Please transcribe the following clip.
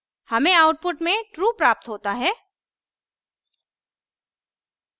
हमें output में true प्राप्त होता है